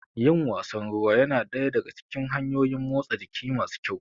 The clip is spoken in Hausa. Yin wasan ruwa ya na daya daga cikin hanyoyin motsa jiki masu kyau.